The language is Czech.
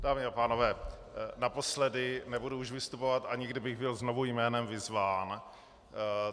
Dámy a pánové, naposledy, nebudu už vystupovat, ani kdybych byl znovu jménem vyzván.